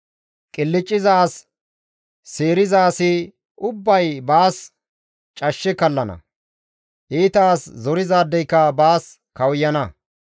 Qilcciza as seeriza asi ubbay baas cashshe kallana; iita as zorizaadeyka baas kawuyana.